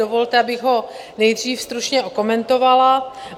Dovolte, abych ho nejdřív stručně okomentovala.